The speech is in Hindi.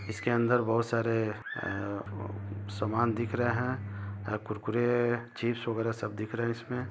इसके अंदर बहुत सारे सामान दिख रहे हे कुरकुरे चिप्स वगेरह सब दिख रहे हैं इसमें।